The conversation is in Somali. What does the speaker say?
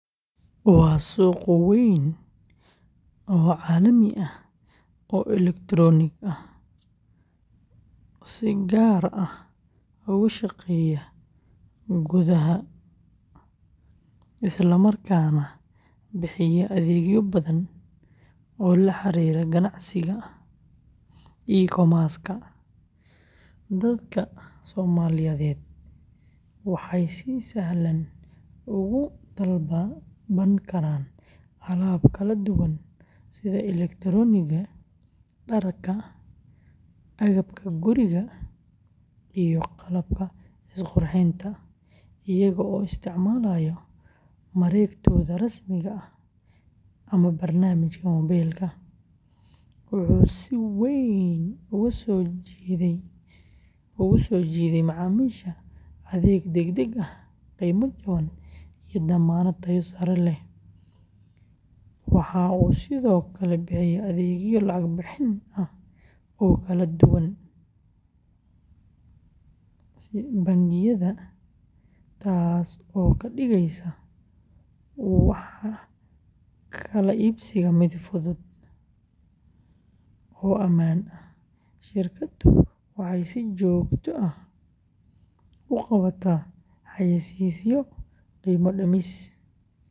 Waa suuq weyn oo elektaroonig ah oo si gaar ah uga shaqeeya gudaha dalka, isla markaana bixiya adeegyo badan oo la xiriira ganacsiga e-commerce-ka. Dadka Soomaaliyeed waxay si sahlan uga dalban karaan alaab kala duwan sida elektaroonigga, dharka, agabka guriga, iyo qalabka isqurxinta, iyaga oo isticmaalaya mareegtooda rasmiga ah ama barnaamijka moobaylka, wuxuu si weyn ugu soo jiiday macaamiisha adeeg degdeg ah, qiimo jaban, iyo dammaanad tayo sare leh. Waxa uu sidoo kale bixiyaa adeegyo lacag-bixin ah oo kala duwan, iyo bangiyada, taas oo ka dhigaysa wax kala iibsiga mid fudud oo ammaan ah. Shirkaddu waxay si joogto ah u qabataa xayeysiisyo, qiimo dhimis.